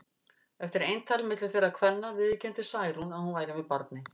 Eftir eintal milli þeirra kvenna viðurkenndi Særún að hún væri með barni.